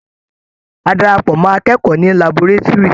A darapọ̀ mọ́ àọn akẹ́kọ̀ọ́ ní laborétúrì.